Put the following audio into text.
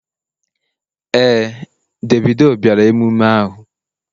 Ee, Davido bịara emume ahụ.